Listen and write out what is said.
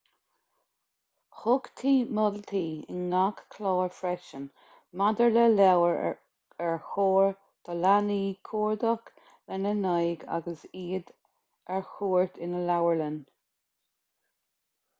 thugtaí moltaí in ngach clár freisin maidir le leabhair ar chóir do leanaí cuardach lena n-aghaidh agus iad ar cuairt ina leabharlann